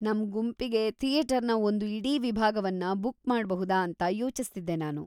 ನಮ್ ಗುಂಪಿಗೆ ಥಿಯೇಟರ್‌ನ ಒಂದು ಇಡೀ ವಿಭಾಗವನ್ನ ಬುಕ್ ಮಾಡ್ಬಹುದಾ ಅಂತ ಯೋಚಿಸ್ತಿದ್ದೆ ನಾನು.